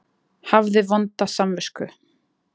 Hafði vonda samvisku.